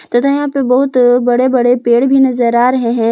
तथा यहां पे बहुत बड़े बड़े पेड़ भी नजर आ रहे हैं।